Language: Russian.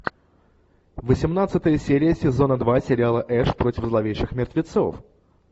восемнадцатая серия сезона два сериала эш против зловещих мертвецов